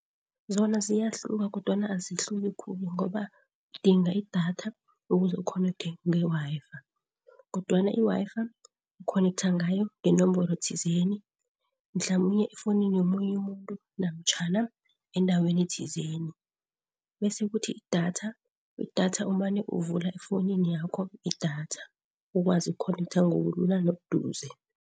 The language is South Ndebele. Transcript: Zona ziyahluka kodwana azihluki khulu ngoba udinga idatha ukuze ukhonekthe nge-Wi-Fi kodwana i-Wi-Fi ukhonektha ngayo ngenomboro thizeni, mhlamunye efowunini yomunye umuntu namtjhana endaweni thizeni. Bese kuthi idatha, idatha umane uvula efowunini yakho idatha ukwazi ukukhonektha ngobulula nobuduze.